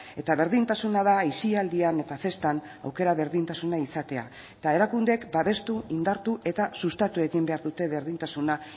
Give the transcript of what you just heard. eta berdintasuna da aisialdian eta festan aukera berdintasuna izatea eta erakundeek babestu indartu eta sustatu egin behar dute berdintasuna